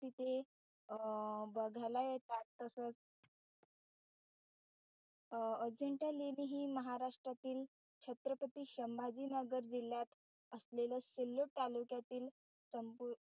तिथे अं बघायला येतात तसंच अं अजिंठा लेणी हि महाराष्ट्रातील छत्रपती संभाजीनगर जिल्ह्यात असलेली सिल्लोड तालुक्यातील संपू,